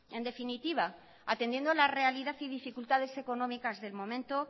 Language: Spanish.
en definitiva atendiendo a la realidad y dificultades económicas del momento